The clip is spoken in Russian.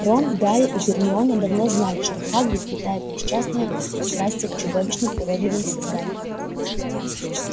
рон гарри и гермиона давно знали что хагрид питает несчастное пристрастие к чудовищным уродливым созданиям